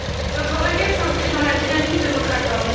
Notre requête s'inscrit dans la dynamique de votre accord.